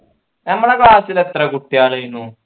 ഞമ്മളെ class ൽ എത്ര കുട്ടികളെനു